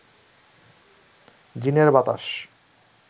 জিনের বাতাস